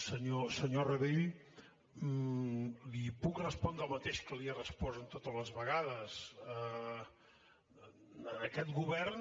senyor rabell li puc respondre el mateix que li he respost totes les vegades en aquest govern